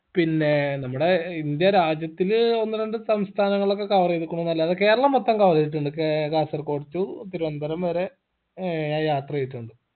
പിന്നേ നമ്മുടെ ഇന്ത്യ രാജ്യത്തില് ഒന്ന് രണ്ട് സംസ്ഥാനങ്ങളൊക്കെ cover എയ്തുക്കുണുന്നല്ലാതെ കേരളം മൊത്തം cover എയ്തിട്ടുണ്ട് കേ കാസർഗോഡ് to തിരുവനന്തപുരം വരെ ഏർ ഞാൻ യാത്രെയ്തിട്ടുണ്ട്